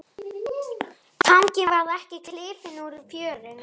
Tanginn varð ekki klifinn úr fjörunni.